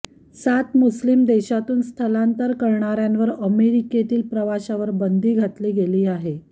सात मुस्लीम देशांतून स्थलांतर करणाऱ्यांवर अमेरिकेतील प्रवेशावर बंदी घातली गेली आहे